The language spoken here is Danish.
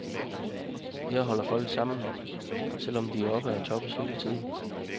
Her holder folk sammen, selv om de er oppe at toppes hele tiden.